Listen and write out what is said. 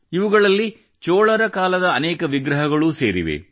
ಇವುಗಳಲ್ಲಿ ಚೋಳರ ಕಾಲದ ಅನೇಕ ವಿಗ್ರಹಗಳೂ ಸೇರಿವೆ